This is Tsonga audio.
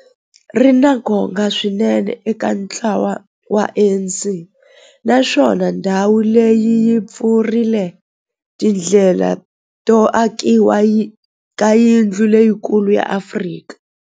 Ri na nkoka swinene eka ntlawa wa ANC, naswona ndhawu leyi yi pfulrile tindlela to akiwa ka yindlu leyikulu ya Afrika.